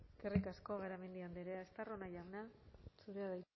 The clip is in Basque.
eskerrik asko garamendi andrea estarrona jauna zurea da